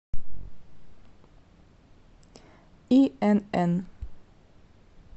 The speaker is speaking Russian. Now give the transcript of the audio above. инн